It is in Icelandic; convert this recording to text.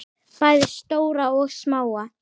Bæði stóra og smáa.